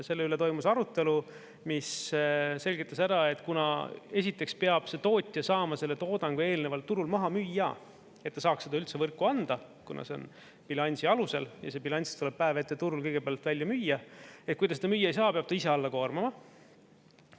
Selle üle toimus arutelu, mis selgitas ära, et kuna esiteks peab see tootja saama selle toodangu eelnevalt turul maha müüa, et ta saaks seda üldse võrku anda, kuna see on bilansi alusel ja see bilanss tuleb päev ette turul kõigepealt välja müüa, kui ta seda müüa ei saa, peab ta ise alla koormama.